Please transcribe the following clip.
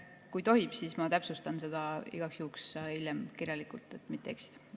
Kui tohib, siis ma täpsustan seda ja vastan igaks juhuks hiljem kirjalikult, et mitte eksida.